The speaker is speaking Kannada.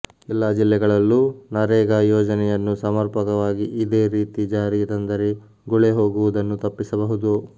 ಎಲ್ಲಾ ಜಿಲ್ಲೆಗಳಲ್ಲೂ ನರೇಗಾ ಯೋಜನೆಯನ್ನು ಸಮರ್ಪಕವಾಗಿ ಇದೇ ರೀತಿ ಜಾರಿಗೆ ತಂದರೆ ಗುಳೆ ಹೋಗುವುದನ್ನು ತಪ್ಪಿಸಬಹುದು